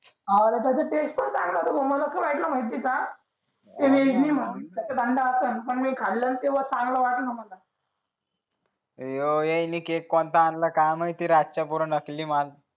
आणि तस केक पण चागलाचांगला होत भाऊ मला असा वाटला माहिती आहे का ती नीलिमा पण मी खाल्ला न तर चांगला वाटला मला त्यांनि केक कोणता आणला काय माहित ते रातचा पूर नकली माल